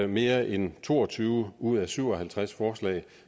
mere end to og tyve ud af syv og halvtreds forslag